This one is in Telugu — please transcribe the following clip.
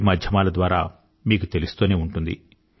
వీ మాధ్యమాల ద్వారా మీకు తెలుస్తూనే ఉంటుంది